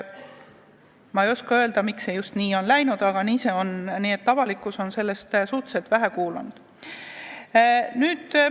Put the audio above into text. Ma ei oska öelda, miks see nii on läinud, aga on tõsi, et avalikkus on uuest versioonist suhteliselt vähe kuulnud.